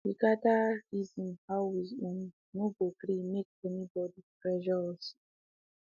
we gather um reason how we um no go gree make anybody pressure us um